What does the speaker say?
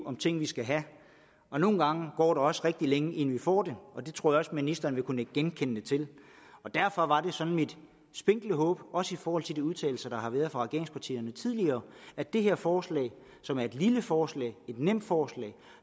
om ting vi skal have og nogle gange går der også rigtig længe inden vi får dem og det tror jeg at ministeren vil kunne nikke genkendende til derfor var det sådan mit spinkle håb også i forhold til de udtalelser der har været fra regeringspartiernes side tidligere at det her forslag som er et lille forslag et nemt forslag